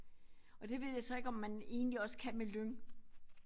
Og det ved jeg så ikke om man egentlig også kan med lyng